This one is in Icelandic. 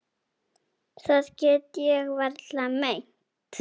Það get ég varla meint.